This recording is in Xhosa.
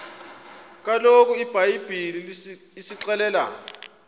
kaloku ibhayibhile isixelela